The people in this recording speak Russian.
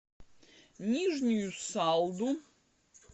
нижнюю салду